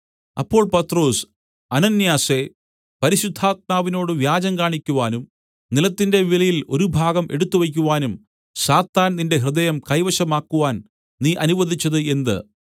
അപ്പോൾ പത്രൊസ് അനന്യാസേ പരിശുദ്ധാത്മാവിനോട് വ്യാജം കാണിക്കുവാനും നിലത്തിന്റെ വിലയിൽ ഒരു ഭാഗം എടുത്തുവയ്ക്കുവാനും സാത്താൻ നിന്റെ ഹൃദയം കൈവശം ആക്കുവാൻ നീ അനുവദിച്ചത് എന്ത്